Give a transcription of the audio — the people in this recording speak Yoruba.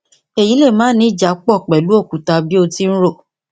èyí lè máà ní ìjápọ pẹlú òkúta bí o ti ń rò